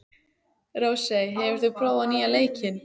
Rósey, hefur þú prófað nýja leikinn?